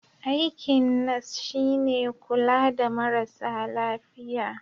Aikin nas shi ne kula da marasa lafiya.